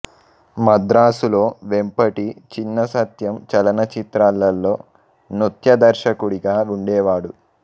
మద్రాసులో వెంపటి చిన సత్యం చలనచిత్రాలలో నృత్య దర్శకుడిగా ఉండేవాడు